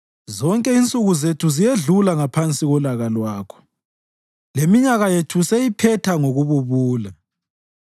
Zonke insuku zethu ziyedlula ngaphansi kolaka lwakho; leminyaka yethu siyiphetha ngokububula.